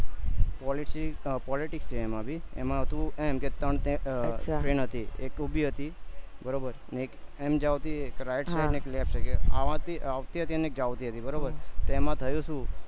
policy politics છે એમાં ભી એમાં હતું એમ કે ત્રણ train હતી એક ઉભી હતી બરોબર અને એક એમ જવતી હતી right side અને left side આવતી આવતી હતી અને એક જાવતી હતી બરોબર તો એમાં થયું શું